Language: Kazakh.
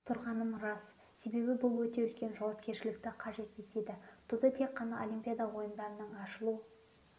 тұрғаным рас себебі бұл өте үлкен жауапкершілікті қажет етеді туды тек қана олимпиада ойындарының ашылу